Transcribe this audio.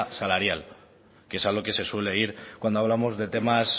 salarial que es a lo que suele ir cuando hablamos de temas